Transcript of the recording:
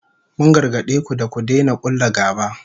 Mun gargade ku da ku daina kulla gaba